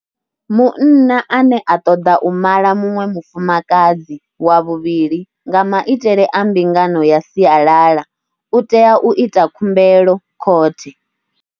Munna ane a ṱoḓa u mala muṅwe mufumakadzi wa vhuvhili nga maitele a mbingano ya sialala u tea u ita khumbelo khothe.